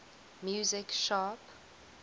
music sharp